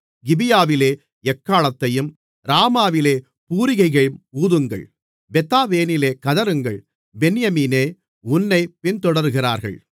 கிபியாவிலே எக்காளத்தையும் ராமாவிலே பூரிகையையும் ஊதுங்கள் பெத்தாவேனிலே கதறுங்கள் பென்யமீனே உன்னைப் பின்தொடருகிறார்கள்